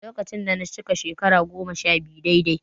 Lokacin da na cika shekara goma-sha-biyu daidai